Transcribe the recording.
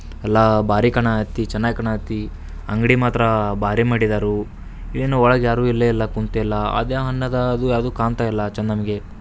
ಎಲ್ಲಾ ಬಾರಿ ಕಾಣಕತ್ತಿ ಎಲ್ಲ ಚೆನ್ನಾಗ್ ಕಾಣತ್ತೆ ಅಂಗಡಿ ಮಾತ್ರ ಬಾರಿ ಮಾಡಿದ್ದರು ಏನು ಒಳಗ ಯಾರುಇಲ್ವೇ ಇಲ್ಲ ಕುಂತೇ ಇಲ್ಲ ಅದೇ ಅಣ್ಣದಾಗು ಯಾವುದು ಕಾಣ್ತಾ ಇಲ್ಲ ಚೆನ್ನಾಗಿ.